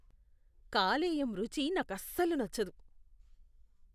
కాలేయం రుచి నాకస్సలు నచ్చదు.